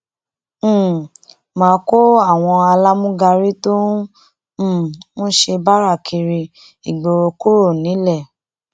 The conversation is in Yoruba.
um má a kó àwọn alámúgárí tó um ń ṣe báárà kiri ìgboro kúrò nílẹ